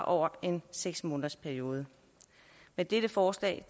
over en seks månedersperiode med dette forslag